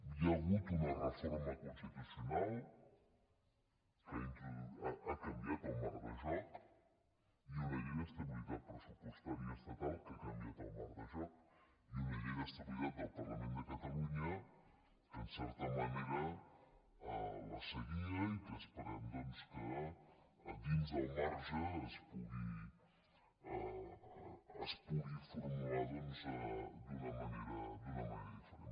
hi ha hagut una reforma constitucional que ha canviat el marc de joc i una llei d’estabilitat pressupostària estatal que ha canviat el marc de joc i una llei d’estabilitat del parlament de catalunya que en certa manera la seguia i que esperem doncs que dins del marge es pugui formular d’una manera diferent